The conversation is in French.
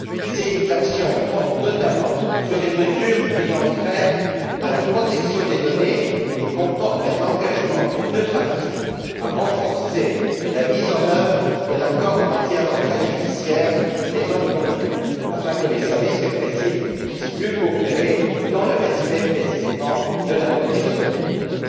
Ces actions portent notamment sur des mesures ayant trait à la protection des données et comportent un engagement des deux parties à renforcer la mise en œuvre de l'accord en matière d'entraide judiciaire qu'elles ont conclu, afin que les services répressifs puissent mieux coopérer dans le respect, précisément, de la protection des données.